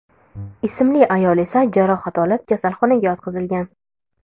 ismli ayol esa jarohat olib kasalxonaga yotqizilgan.